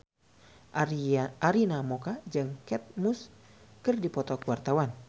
Arina Mocca jeung Kate Moss keur dipoto ku wartawan